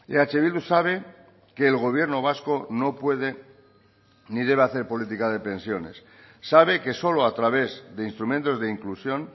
eh bildu sabe que el gobierno vasco no puede ni debe hacer política de pensiones sabe que solo a través de instrumentos de inclusión